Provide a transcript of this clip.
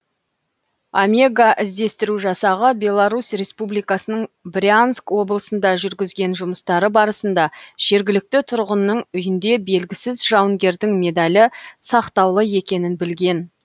омега іздестіру жасағы беларусь республикасының брянск облысында жүргізген жұмыстары барысында жергілікті тұрғынның үйінде белгісіз жауынгердің медалі сақтаулы екенін білген